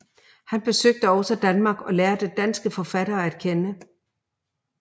Han besøgte også Danmark og lærte danske forfattere at kende